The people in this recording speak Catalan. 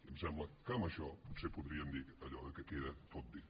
em sembla que amb això potser podríem dir allò que queda tot dit